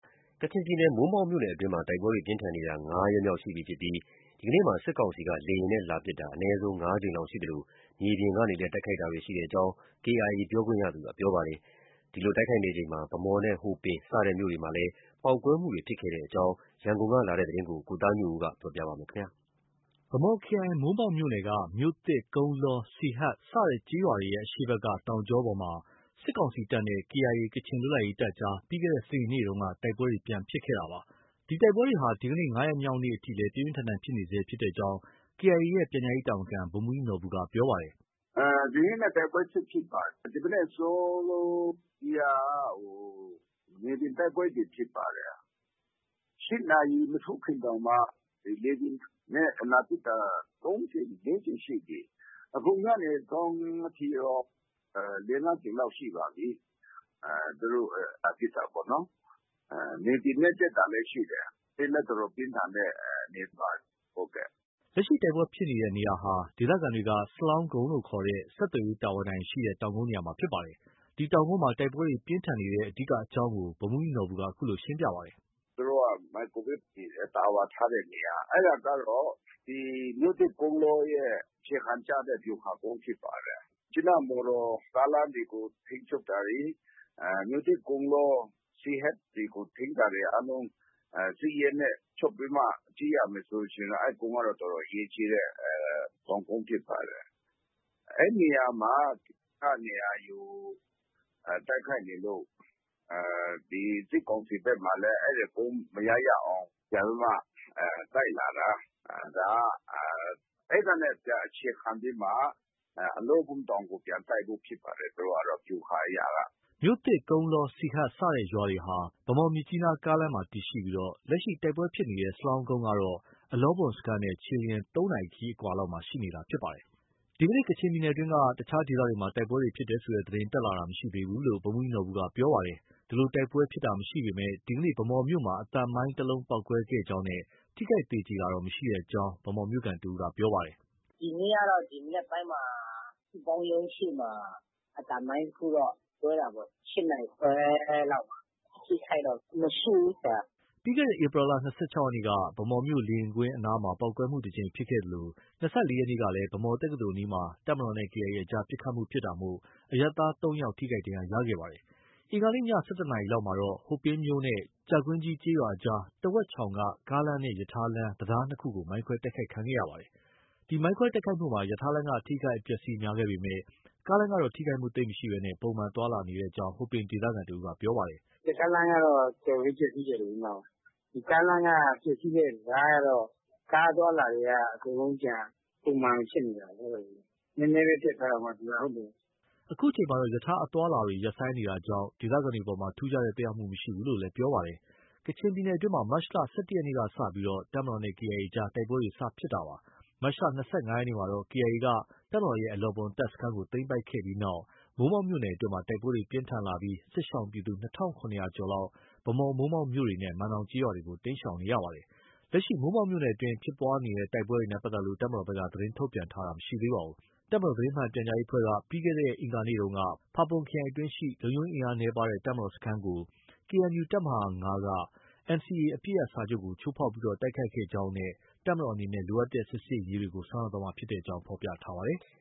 ကချင်ပြည်နယ် မိုးမောက်မြို့နယ်အတွင်းမှာ တိုက်ပွဲတွေဟာ ၅ ရက်မြောက်နေ့အထိ တိုက်ပွဲတွေ ပြင်းထန်နေဆဲဖြစ်ပြီး ဒီကနေ့ လေယာဉ်နဲ့ လာရောက်တိုက်ခိုက်တာ အနည်းဆုံး ၅ ကြိမ်လောက်ရှိသလို မြေပြင်ကနေလည်း တိုက်ခိုက်တာတွေ ရှိကြောင်း KIA ပြောခွင့်ရသူက ပြောပါတယ်။ ဒီလိုတိုက်ခိုက်နေချိန်မှာ ဗန်းမော်နဲ့ ဟိုပင်စတဲ့မြို့တွေမှာလည်း ပေါက်ကွဲမှုတွေ ဖြစ်ပွားခဲ့တဲ့အကြောင်း ရန်ကုန်က လာတဲ့သတင်းကို ကိုသားညွန့်ဦး ပြောပြပါမယ်။ ဗန်းမော်ခရိုင် မိုးမောက်မြို့နယ်က မြို့သစ်၊ ကုန်းလော၊ စီဟတ်စတဲ့ ကျေးရွာတွေရဲ့ အရှေ့ဘက်က တောင်ကြောပေါ်မှာ စစ်ကောင်စီတပ်နဲ့ KIA ကချင်လွတ်လပ်ရေးတပ်အကြား ပြီးခဲ့တဲ့ စနေနေ့က တိုက်ပွဲပြန်လည်ဖြစ်ခဲ့တာပါ။ ဒီတိုက်ပွဲတွေဟာ ဒီကနေ့ ၅ ရက်မြောက်နေ့အထိလည်း ပြင်းပြင်းထန်ထန်ဖြစ်နေဆဲဖြစ်ကြောင်း KIA ရဲ့ ပြန်ကြားရေးတာဝန်ခံ ဗိုလ်မှူးကြီးနော်ဘူက ပြောပါတယ်။ “ဒီနေ့လည်း တိုက်ပွဲဆက်ဖြစ်ပါတယ်။ ဒီမနက် အစောကြီးက မြေပြင်တိုက်ပွဲတွေ ဖြစ်ပါတယ်။ ၈ နာရီ မထိုးခင်တောင်မှ လေယာဉ်နဲ့ လာပစ်တာ ၃ ကြိမ်၊ ၄ ကြိမ်ရှိပြီ။ အခုညနေစောင်းထိရော ၄၊ ၅ ကြိမ်လောက် ရှိပါပြီ။ သူတို့ လာပစ်တာပေါ့နော်။ မြေပြင်နဲ့ တက်တာလည်း ရှိတယ်။ ပြင်းလည်း အတော်ပြင်းထန်တဲ့ အနေအထားပါ။” လက်ရှိတိုက်ပွဲဖြစ်ပွားနေတဲ့ နေရာဟာ ဒေသခံတွေက စလောင်းကုန်းလို့ ခေါ်တဲ့ ဆက်သွယ်ရေးတာဝါတိုင်ရှိရာ တောင်ကုန်းနေရာမှာဖြစ်ပါတယ်။ ဒီတောင်ကုန်းမှာ တိုက်ပွဲတွေ ပြင်းထန်နေတဲ့ အဓိကအကြောင်းကို ဗိုလ်မှူးကြီးနော်ဘူက အခုလို ဆက်ပြောပါတယ်။ “သူတို့ မိုက်ကရိုဝေ့ဖ် တာဝါထားတဲ့နေရာ၊ အဲဒါကတော့ ဒီ မြို့သစ်၊ ကုန်းလောရဲ့ အခြေခံ ကျတဲ့ ဗျူဟာကုန်းဖြစ်ပါတယ်။ မြစ်ကြီးနား မော်တော်ကားလမ်းတွေကို ထိန်းချုပ်တာတွေ၊ မြို့သစ်၊ ကုန်းလော၊ စီဟတ်တွေကို ထိန်းတာတွေ အားလုံး စစ်ရေးနဲ့ ချုပ်ပြီးမှ ကြည့်ရမယ်ဆိုရင်တော့ အဲဒီကုန်းက တော်တော် အရေးကြီးတဲ့ တောင်ကုန်းဖြစ်ပါတယ်။ အဲဒီနေရာမှာ က နေရာယူ တိုက်ခိုက်နေလို့ ဒီ စစ်ကောင်စီဘက်မှာလည်း အဲဒီကုန်း မရ၊ ရအောင် ပြန်ပြီးမှ တိုက်လာတာ၊ အဲဒီကနေ ပြန်အခြေခံပြီးမှ အလောဘွမ်တောင်ကို ပြန်တိုက်ဖို့ ဖြစ်ပါတယ်။ သူတို့ကတော့ ဗျူဟာအရက။” မြို့သစ်၊ ကုန်းလော၊ စီဟတ် စတဲ့ရွာတွေဟာ ဗန်းမော်- မြစ်ကြီးနားကားလမ်းမှာ တည်ရှိပြီး လက်ရှိ တိုက်ပွဲဖြစ်နေတဲ့ စလောင်းကုန်းကတော့ အလောဘွမ်စခန်းနဲ့ ခြေလျင် ၃ နာရီ ခရီးအကွာလောက်မှာ ရှိနေတာဖြစ်ပါတယ်။ ဒီကနေ့ ကချင်ပြည်နယ်အတွင်းက အခြားဒေသတွေမှာ တိုက်ပွဲဖြစ်ပွားတယ်ဆိုတဲ့ သတင်း တက်လာတာ မရှိသေးဘူးလို့ ဗိုလ်မှူးကြီးနော်ဘူက ပြောဆိုပါတယ်။ ဒီလို တိုက်ပွဲဖြစ်ပွားတာမရှိပေမဲ့ ဒီကနေ့ ဗန်းမော်မြို့မှာ အသံမိုင်း တစ်လုံးပေါက်ကွဲခဲ့ကြောင်းနဲ့ ထိခိုက်သေကြေတော့ မရှိကြောင်း ဗန်းမော်မြို့ခံတစ်ဦးက ပြောပါတယ်။ “ဒီနေ့ကတော့ မနက်ပိုင်းမှာ စုပေါင်းရုံးရှေ့မှာ အသံမိုင်းတစ်ခုတော့ ကွဲတာပေါ့။ ၈ နာရီခွဲလောက်မှာ။ အထိအခိုက်တော့ မရှိဘူး။” ပြီးခဲ့တဲ့ ဧပြီလ ၂၆ ရက်နေ့က ဗန်းမော်မြို့ လေယာဉ်ကွင်းအနားမှာ ပေါက်ကွဲမှု တစ်ကြိမ်ဖြစ်ပွားခဲ့သလို ၂၄ ရက်နေ့ကလည်း ဗန်းမော်တက္ကသိုလ်အနီးမှာ တပ်မတော်နဲ့ KIA အကြား ပစ်ခတ်မှုဖြစ်တာကြောင့် အရပ်သား ၃ ယောက် ထိခိုက်ဒဏ်ရာရခဲ့ပါတယ်။ အင်္ဂါနေ့ ည ၁၁ နာရီလောက်မှာတော့ ဟိုပင်မြို့နဲ့ ကြာကြီးကွင်း ကျေးရွာအကြားက တဝက်ချောင်က ကားလမ်းနဲ့ ရထားလမ်း တံတား ၂ ခုကို မိုင်းခွဲတိုက်ခိုက်ခံရပါတယ်။ ဒီမိုင်းခွဲတိုက်ခိုက်မှုမှာ ရထားလမ်းက အထိအခိုက် အပျက်အဆီး များခဲ့ပေမဲ့ ကားလမ်းကတော့ ထိခိုက်မှုသိပ်မရှိဘဲ ပုံမှန် သွားလာနေကြောင်းကို ဟိုပင်ဒေသခံတစ်ဦးက ပြောပါတယ်။ “ရထားလမ်းကတော့ တော်တော်လေး ပျက်ဆီးတယ်လေ။ ကားလမ်းက ပျက်ဆီးတဲ့ တံတားကတော့ ကားအသွားအလာတွေက အကုန်လုံး ပြန်ပုံမှန်ဖြစ်နေတာလေ။ နည်းနည်းပဲ ပျက်သွားတာပေါ့ သူက။” အခုချိန်မှာတော့ ရထားအသွားအလာတွေလည်း ရပ်ဆိုင်းနေတာကြောင့် ဒေသခံတွေအပေါ် ထူုးခြားတဲ့ သက်ရောက်မှု မရှိဘူးလို့လည်း ပြောပါတယ်။ ကချင်ပြည်နယ်အတွင်းမှာ မတ်လ ၁၁ ရက်နေ့က စတင်ပြီး တပ်မတော်နဲ့ KIA အကြား တိုက်ပွဲတွေ စတင်ခဲ့တာပါ။ မတ်လ ၂၅ ရက်နေ့မှာတော့ KIA က တပ်မတော်ရဲ့ အလောဘွမ်တပ်စခန်းကို သိမ်းပိုက်ခဲ့တဲ့နောက် မိုးမောက်မြို့နယ်အတွင်း တိုက်ပွဲတွေ ပြင်းထန်လာခဲ့ပြီး စစ်ရှောင်ပြည်သူ ၂,၇၀၀ ကျော်လောက်ဟာ ဗန်းမော်၊ မိုးမောက်မြို့တွေနဲ့ မန်နောင်ကျေးရွာတွေကို တိမ်းရှောင်နေကြရပါတယ်။ လက်ရှိ မိုးမောက်မြို့နယ်အတွင်း ဖြစ်ပွားတဲ့တိုက်ပွဲနဲ့ ပတ်သက်လို့ တပ်မတော်ဘက်က သတင်းထုတ်ပြန်ထားတာ မရှိပါဘူး။ တပ်မတော်သတင်းမှန်ပြန်ကြားရေးအဖွဲ့က ပြီးခဲ့တဲ့ အင်္ဂါနေ့က ဖာပွန်ခရိုင်အတွင်းရှိ လုံခြုံရေးအင်အားနည်းပါးတဲ့ တပ်မတော်စခန်းကို KNU တပ်မဟာ ၅ က NCA အပစ်ရပ်စာချုပ်ကို ချိုးဖောက် တိုက်ခိုက်ခဲ့ကြောင်းနဲ့ တပ်မတော်အနေနဲ့ လိုအပ်တဲ့ စစ်ဆင်ရေးတွေကို ဆောင်ရွက်သွားမှာဖြစ်ကြောင်း ဖော်ပြထားပါတယ်။